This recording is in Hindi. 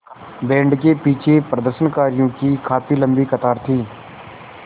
बैंड के पीछे प्रदर्शनकारियों की काफ़ी लम्बी कतार थी